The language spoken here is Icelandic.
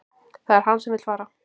Það er hann sem vill fara